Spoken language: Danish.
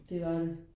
Det var det